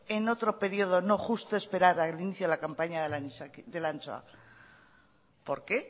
en otro periodo no justo esperar al inicio de la campaña de la anchoa por qué